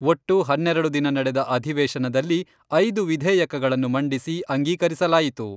ಒಟ್ಟು ಹನ್ನೆರೆಡು ದಿನ ನಡೆದ ಅಧಿವೇಶನದಲ್ಲಿ ಐದು ವಿಧೇಯಕಗಳನ್ನು ಮಂಡಿಸಿ ಅಂಗೀಕರಿಸಲಾಯಿತು.